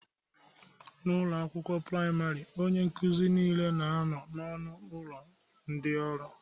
N'ụlọ akwụkwọ praịmarị, onye nkuzi niile na-anọ n'ọnụ ụlọ ndị ọrụ